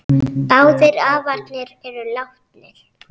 Báðir afarnir eru látnir.